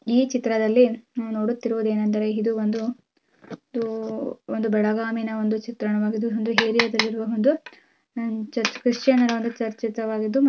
ಈ ಚಿತ್ರದಲ್ಲಿನಾವು ನೋಡುತಿರುವುದು ಏನ್ ಎಂದರೆ ಇದು ಒಂದು ಒಂದು ಒಂದು ಬೆಳಗಾಮೀನ ಒಂದು ಚಿತ್ರಣವಾಗಿದ್ದು ಒಂದು ಏರಿಯಾದಲ್ಲಿ ಇರುವ ಒಂದು ಚರ್ಚ್ ಕ್ರಿಶ್ಚಿಯನ್ ನರ್ ಒಂದು ಚರ್ಚ್ ಚಿತ್ರವಾಗಿದ್ದು.